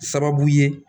Sababu ye